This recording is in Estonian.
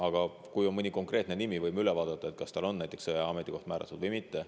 Aga kui on mõni konkreetne nimi, võime üle vaadata, kas tal on näiteks sõjaaja ametikoht määratud või mitte.